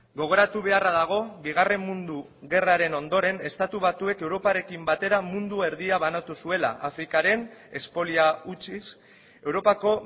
gogoratu beharra dago bigarren mundu gerraren ondoren estatu batuek europarekin batera mundu erdia banatu zuela afrikaren espolia utziz europako